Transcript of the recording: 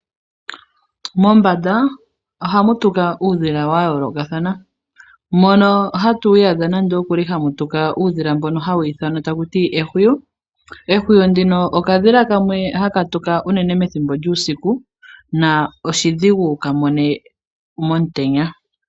Mombanda ohamu tuka uudhila wayoolokathana mpono hata iyadha nando okuli hamu tuka uudhila mboka hawu ithanwa takuti ehuwi. Ehuwi ndino okadhila kamwe hoka haka tuka uunene pethimbo lyuusiku sho oshili oshidhigu uunene wukamone pethimbo lyomutenya.